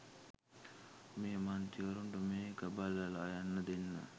මේ මන්ත්‍රීවරුන්ට මේක බලලා යන්න දෙන්න